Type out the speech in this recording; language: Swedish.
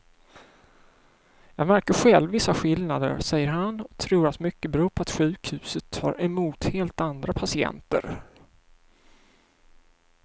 Jag märker själv vissa skillnader, säger han och tror att mycket beror på att sjukhuset tar emot helt andra patienter.